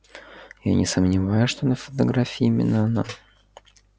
я не сомневаюсь что на фотографии именно она